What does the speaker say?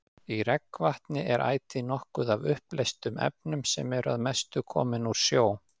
Í regnvatni er ætíð nokkuð af uppleystum efnum sem eru að mestu komin úr sjó.